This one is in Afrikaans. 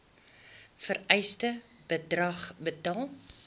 vereiste bedrag betaal